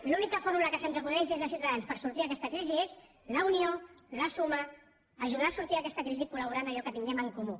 l’única fórmula que se’ns acudeix des de ciutadans per sortir d’aquesta crisi és la unió la suma ajudar a sortir d’aquesta crisi colallò que tinguem en comú